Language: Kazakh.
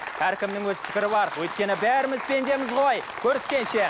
әркімнің өз пікірі бар өйткені бәріміз пендеміз ғой көріскенше